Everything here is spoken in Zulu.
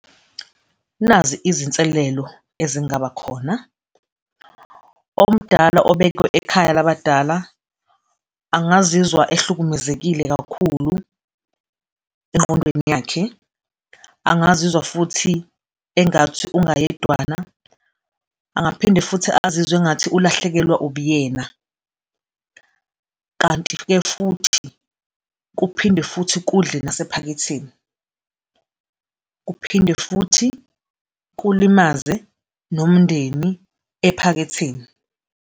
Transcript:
Nazi izinselelo ezingaba khona, omdala obekwe ekhaya labadala angizizwa ehlukumezekile kakhulu engqondweni yakhe, angizizwa futhi engathi ungayedwana angaphinde futhi azizwe engathi ulahlekelwa ubuyena kanti-ke futhi kuphinde futhi kudle nasephaketheni kuphinde futhi kulimaze nomndeni ephaketheni.